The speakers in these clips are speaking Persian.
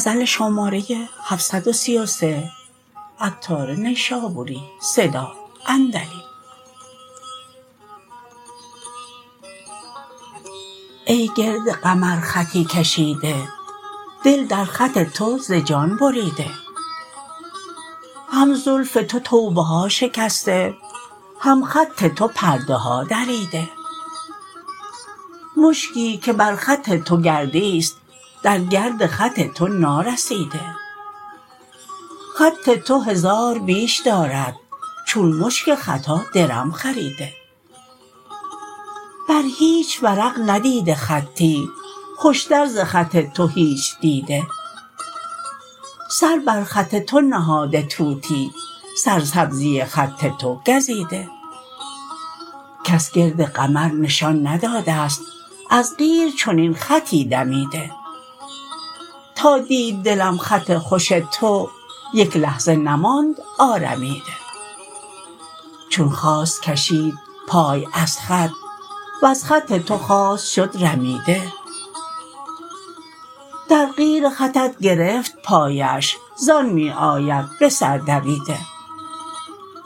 ای گرد قمر خطی کشیده دل در خط تو ز جان بریده هم زلف تو توبه ها شکسته هم خط تو پرده ها دریده مشکی که بر خط تو گردی است در گرد خط تو نارسیده خط تو هزار بیش دارد چون مشک خطا درم خریده بر هیچ ورق ندیده خطی خوشتر ز خط تو هیچ دیده سر بر خط تو نهاده طوطی سر سبزی خط تو گزیده کس گرد قمر نشان نداده است از قیر چنین خطی دمیده تا دید دلم خط خوش تو یک لحظه نماند آرمیده چون خواست کشید پای از خط وز خط تو خواست شد رمیده در قیر خطت گرفت پایش زان می آید به سر دویده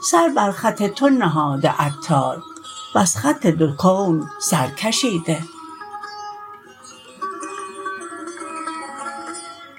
سر به سر خط تو نهاده عطار وز خط دو کون سر کشیده